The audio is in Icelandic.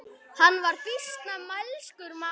Hann var býsna mælskur maður.